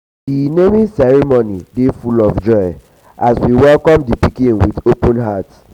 di um naming ceremony dey full of joy as we welcome di pikin um with open hearts.